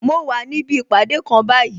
Mo wà níbi ìpàdé kan báyìí